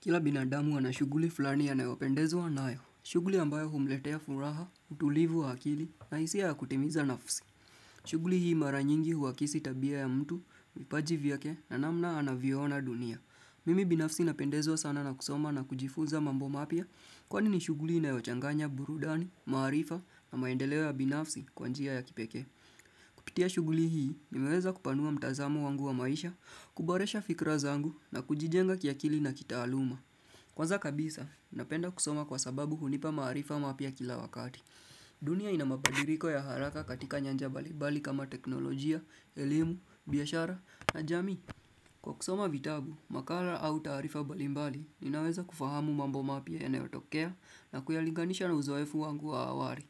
Kila binadamu anashuguli fulani yanayopendezwa anayo. Shuguli ambayo humletea furaha, utulivu hakili na isi ya kutimiza nafsi. Shuguli hii mara nyingi huwakisi tabia ya mtu, mipaji vyake na namna anaviona dunia. Mimi binafsi napendezwa sana na kusoma na kujifuza mambo mapya kwani ni shuguli inayochanganya burudani, maarifa na maendeleo ya binafsi kwa njia ya kipekee. Kupitia shughuli hii, mimeweza kupanua mtazamu wangu wa maisha, kuboresha fikra zangu na kujijenga kiakili na kitaaluma. Kwanza kabisa, napenda kusoma kwa sababu hunipa maarifa mapya kila wakati. Dunia inamabadiriko ya haraka katika nyanja balibali kama teknolojia, elimu, biashara, na jamii. Kwa kusoma vitabu, makala au taarifa balibali, ninaweza kufahamu mambo mapya yanayotokea nakuyalinganisha na uzoefu wangu wa awari.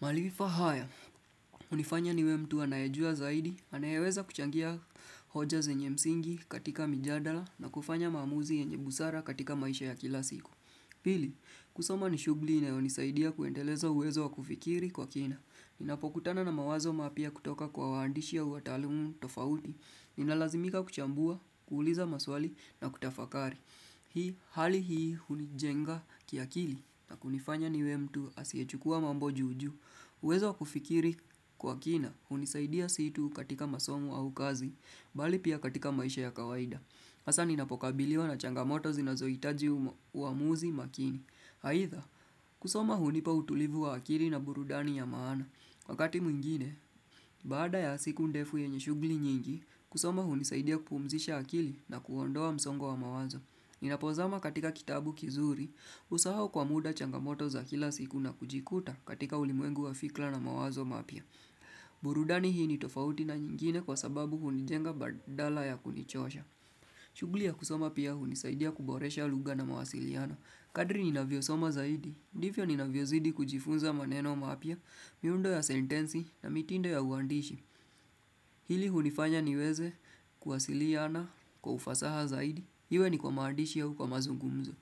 Malifa haya, unifanya niwe mtu anayejua zaidi, anayeweza kuchangia hoja zenye msingi katika mijadala na kufanya mamuzi enye busara katika maisha ya kila siku. Pili, kusoma ni shughuli inayonisaidia kuendeleza uwezo wa kufikiri kwa kina. Ninapokutana na mawazo mapya kutoka kwa waandishi ya watalumu tofauti. Ninalazimika kuchambua, kuuliza maswali na kutafakari. Hii, hali hii unijenga kia kili na kunifanya ni we mtu asiechukua mambo juju. Uwezo wa kufikiri kwa kina unisaidia situ katika masomo au kazi, bali pia katika maisha ya kawaida. Hasa ninapokabiliwa na changamoto zinazoitaji uamuzi makini. Haitha, kusoma hunipa utulivu wa akili na burudani ya maana. Wakati mwingine, baada ya siku ndefu yenye shughuli nyingi, kusoma hunisaidia kupumzisha akili na kuondoa msongo wa mawazo. Ninapozama katika kitabu kizuri, usahau kwa muda changamoto za kila siku na kujikuta katika ulimwengu wa fikla na mawazo mapia. Burudani hii ni tofauti na nyingine kwa sababu hunijenga badala ya kunichosha. Shughuli ya kusoma pia hunisaidia kuboresha lugha na mawasiliano Kadri ni navio soma zaidi, divyo ni navio zidi kujifunza maneno mapya, miundo ya sentensi na mitindo ya uandishi Hili hunifanya niweze kuwasiliana kwa ufasaha zaidi, hiwe ni kwa maandishi ya huu kwa mazungumzo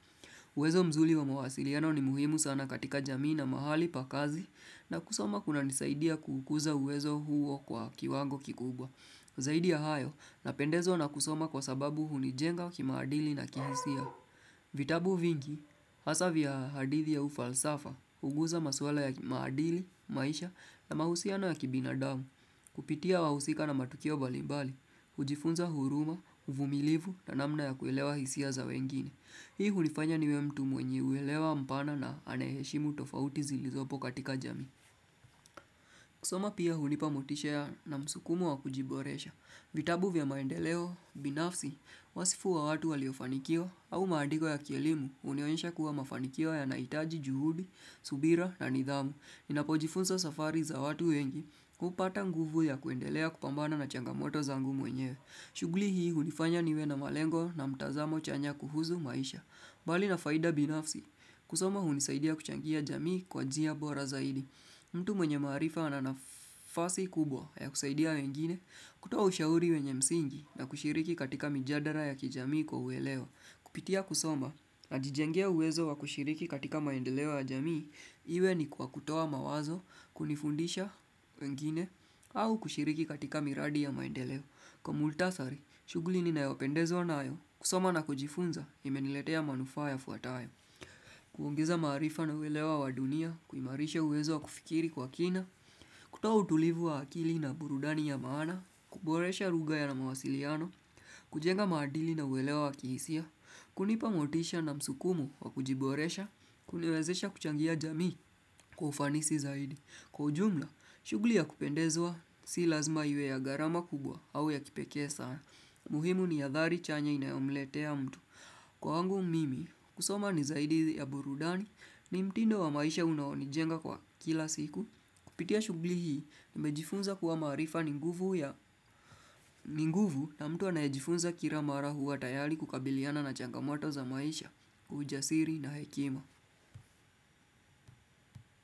uwezo mzuli wa mawasiliano ni muhimu sana katika jamii na mahali pa kazi na kusoma kuna nisaidia kukuza uwezo huo kwa kiwango kikubwa Zaidi ya hayo, napendezo na kusoma kwa sababu hunijenga wakimaadili na kihisia. Vitabu vingi, hasa vya hadithi ya ufalsafa, huguza maswala ya kimaadili, maisha na mahusiana ya kibinadamu. Kupitia wahusika na matukio mbalimbali, hujifunza huruma, uvumilivu na namna ya kuelewa hisia za wengine. Hii hunifanya niwe mtu mwenye uelewa mpana na aneheshimu tofauti zilizopo katika jamii. Kusoma pia hunipamotisha na msukumo wa kujiboresha. Vitabu vya maendeleo, binafsi, wasifu wa watu waliofanikio au maandiko ya kielimu unioensha kuwa mafanikio ya naitaji juhudi, subira na nidhamu. Ninapojifunza safari za watu wengi, kupata nguvu ya kuendelea kupambana na changamoto zangu mwenyewe. Shughulii hii unifanya niwe na malengo na mtazamo chanya kuhuzu maisha. Mbali na faida binafsi, kusoma hunisaidia kuchangia jamii kwa njia bora zaidi. Mtu mwenye maarifa ananafasi kubwa ya kusaidia wengine, kutoa ushauri wenye msingi na kushiriki katika mijadara ya kijamii kwa ueleo. Kupitia kusoma na jijengea uwezo wa kushiriki katika maendeleo ya jamii, iwe ni kwa kutoa mawazo, kunifundisha wengine, au kushiriki katika miradi ya maendeleo. Kwa multasari, shughuli ni nayopendezwa nayo kusoma na kujifunza imeniletea manufaa yafuatayo. Kuongeza maarifa na uwelewa wa dunia, kuimarisha uwezo wa kufikiri kwa kina, kutoa utulivu wa akili na burudani ya maana, kuboresha lugha ya na mawasiliano, kujenga madili na uwelewa wa kihisia, kunipa motisha na msukumu wa kujiboresha, kuniwezesha kuchangia jamii kufanisi zaidi. Kwa ujumla, shughuli ya kupendezwa si lazima yue ya gharama kubwa au ya kipeke sana. Muhimu ni adhari chanya inaomletea mtu. Kwangu mimi, kusoma ni zaidi ya burudani ni mtindo wa maisha unawonijenga kwa kila siku. Kupitia shugli hii, mejifunza kuwa marifa ninguvu na mtu anajifunza kira mara huwa tayari kukabiliana na changamoto za maisha, ujasiri na hekima.